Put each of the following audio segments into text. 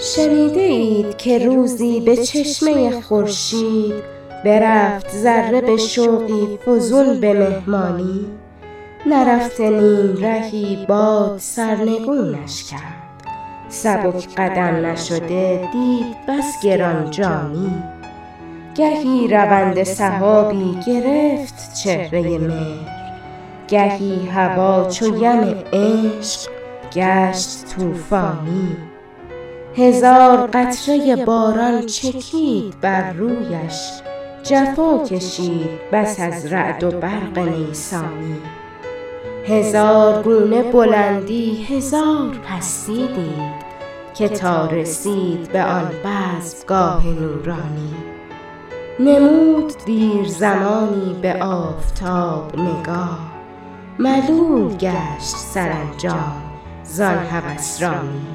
شنیده اید که روزی بچشمه خورشید برفت ذره بشوقی فزون بمهمانی نرفته نیمرهی باد سرنگونش کرد سبک قدم نشده دید بس گرانجانی گهی رونده سحابی گرفت چهره مهر گهی هوا چو یم عشق گشت طوفانی هزار قطره باران چکید بر رویش جفا کشید بس از رعد و برق نیسانی هزار گونه بلندی هزار پستی دید که تا رسید به آن بزمگاه نورانی نمود دیر زمانی به آفتاب نگاه ملول گشت سرانجام زان هوسرانی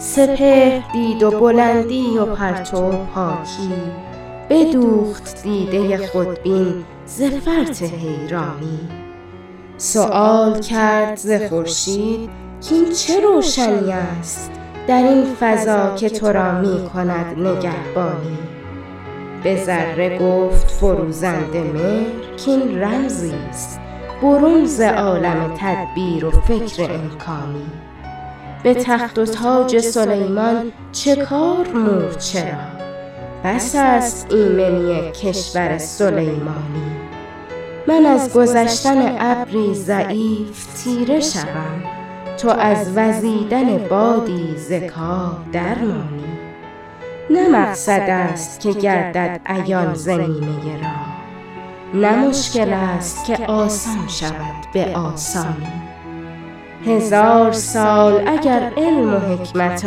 سپهر دید و بلندی و پرتو و پاکی بدوخت دیده خودبین ز فرط حیرانی سیوال کرد ز خورشید کاین چه روشنی است در این فضا که ترا میکند نگهبانی بذره گفت فروزنده مهر کاین رمزیست برون ز عالم تدبیر و فکر امکانی بتخت و تاج سلیمان چکار مورچه را بس است ایمنی کشور سلیمانی من از گذشتن ابری ضعیف تیره شوم تو از وزیدن بادی ز کار درمانی نه مقصد است که گردد عیان ز نیمه راه نه مشکل است که آسان شود بسانی هزار سال اگر علم و حکمت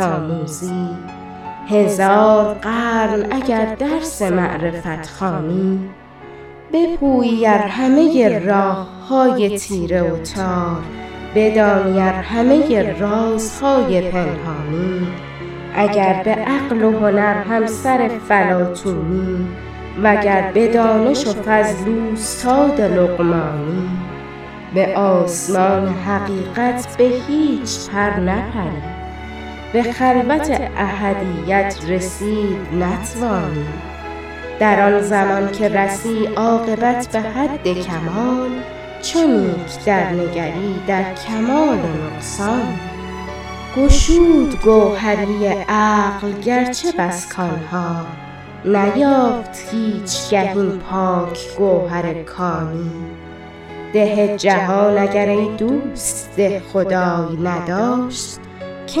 آموزی هزار قرن اگر درس معرفت خوانی بپویی ار همه راههای تیره و تار بدانی ار همه رازهای پنهانی اگر بعقل و هنر همسر فلاطونی وگر بدانش و فضل اوستاد لقمانی بسمان حقیقت بهیچ پر نپری به خلوت احدیت رسید نتوانی در آنزمان که رسی عاقبت بحد کمال چو نیک در نگری در کمال نقصانی گشود گوهری عقل گرچه بس کانها نیافت هیچگه این پاک گوهر کانی ده جهان اگر ایدوست دهخدای نداشت که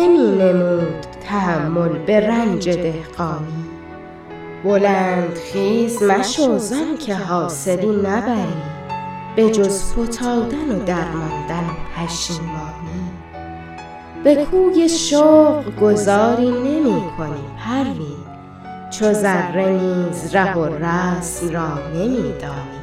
مینمود تحمل به رنج دهقانی بلند خیز مشو زانکه حاصلی نبری بخز فتادن و درماندن و پشیمانی بکوی شوق گذاری نمیکنی پروین چو ذره نیز ره و رسم را نمیدانی